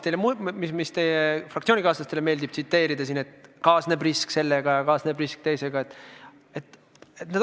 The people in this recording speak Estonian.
Teie fraktsioonikaaslastele meeldib teatud lauseid tsiteerida ja korrata, et sellega kaasneb risk ja teisega kaasneb risk.